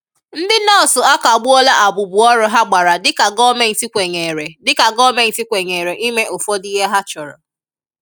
Ndị nọọsụ akagbuola abụbụọrụ ha gbara dịka gọọmenti kwenyere dịka gọọmenti kwenyere ime ụfọdụ ihe ha chọrọ